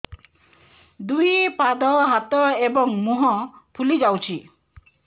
ଦୁଇ ପାଦ ହାତ ଏବଂ ମୁହଁ ଫୁଲି ଯାଉଛି